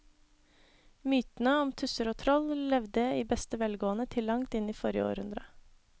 Mytene om tusser og troll levde i beste velgående til langt inn i forrige århundre.